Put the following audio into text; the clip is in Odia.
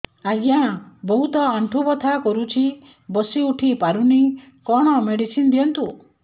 ଆଜ୍ଞା ବହୁତ ଆଣ୍ଠୁ ବଥା କରୁଛି ବସି ଉଠି ପାରୁନି କଣ ମେଡ଼ିସିନ ଦିଅନ୍ତୁ